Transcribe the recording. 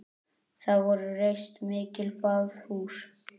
Þar voru reist mikil baðhús.